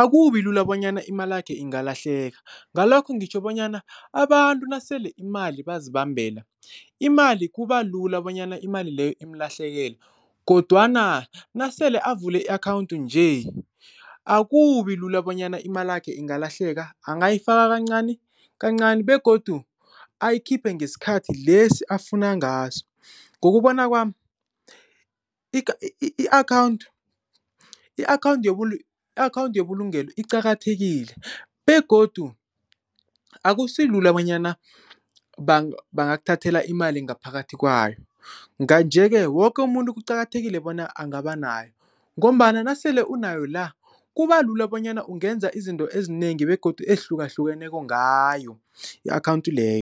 akubi lula bonyana imalakhe ingalahleka, ngalokho ngitjho bonyana abantu nasele imali bazibambela, imali kuba lula bonyana imali leyo imlahlekele kodwana nasele avule i-akhawunti nje akubi lula bonyana imalakhe ingalahleka. Angayifaka kancani kancani begodu ayikhiphe ngesikhathi lesi afuna ngaso. Ngokubona kwami i-akhawunti yebulungelo iqakathekile begodu akusilula bonyana bangakuthathela imali ngaphakathi kwayo. Nje-ke woke umuntu kuqakathekile bona angaba nayo ngombana nasele unayo la kuba lula bonyana ungenza izinto ezinengi begodu ezihlukahlukeneko ngayo i-akhawunti leyo.